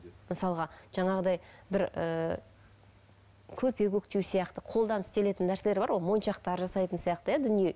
мысалға жаңағыдай бір ыыы көрпе көктеу сияқты қолдан істелетін нәрселер бар ғой моншақтар жасайтын сияқты иә дүние